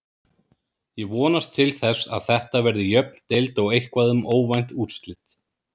Ég vonast til þess að Þetta verði jöfn deild og eitthvað um óvænt úrslit.